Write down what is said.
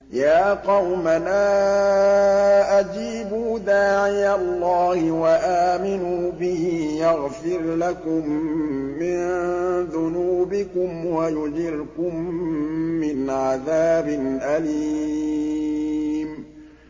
يَا قَوْمَنَا أَجِيبُوا دَاعِيَ اللَّهِ وَآمِنُوا بِهِ يَغْفِرْ لَكُم مِّن ذُنُوبِكُمْ وَيُجِرْكُم مِّنْ عَذَابٍ أَلِيمٍ